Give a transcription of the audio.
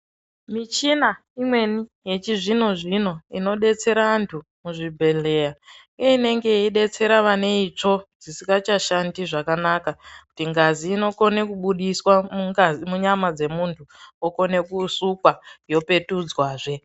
Michina imweni yechizvino-zvino inobetsera antu muzvibhedhleya. Inenge yeibetsera vane itsvo dzisikachashandi zvakanaka. Kuti ngazi inokone kubudiswa munyama dzemuntu okone kusukwa yopetudzwazve.